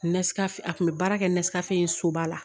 a kun bɛ baara kɛ soba la